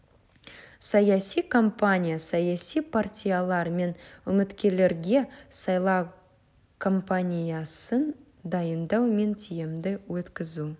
саяси кампания саяси партиялар мен үміткерлерге сайлау компаниясын дайындау мен тиімді өткізу